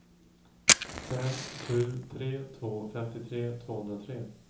fem sju tre två femtiotre tvåhundratre